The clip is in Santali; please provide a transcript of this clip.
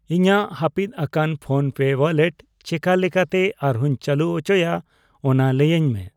ᱤᱧᱟ.ᱜ ᱦᱟᱹᱯᱤᱛ ᱟᱠᱟᱱ ᱯᱷᱳᱱᱯᱮ ᱣᱟᱞᱞᱮᱴ ᱪᱮᱠᱟ ᱞᱮᱠᱟᱛᱮ ᱟᱨᱦᱚᱹᱧ ᱪᱟᱹᱞᱩ ᱩᱪᱚᱭᱟ ᱚᱱᱟ ᱞᱟᱹᱭᱟᱹᱧ ᱢᱮ ᱾